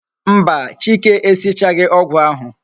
Mba, chike e sichaghi ogwu ahu